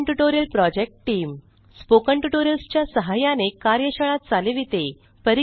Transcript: spoken tutorial project team spoken tutorials च्या सहाय्याने कार्यशाळा चालविते